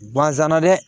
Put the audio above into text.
Bazɛna dɛ